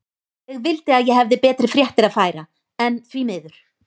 Ég vildi að ég hefði betri fréttir að færa, en því miður.